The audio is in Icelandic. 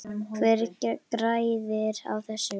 Hver græðir á þessu?